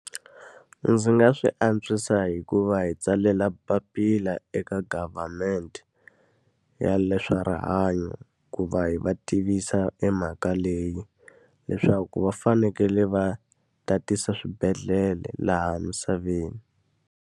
Ndzi nga swi antswisa hi ku va hi tsalela papila eka government ya leswa rihanyo, ku va hi va tivisa emhaka leyi. Leswaku va fanekele va tatisa swibedhlele laha misaveni.